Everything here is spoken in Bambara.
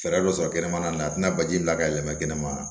Fɛɛrɛ dɔ sɔrɔ kɛnɛmana na nin na a tina baji la ka yɛlɛma kɛnɛ ma